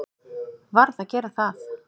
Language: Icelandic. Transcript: Verð að gera það.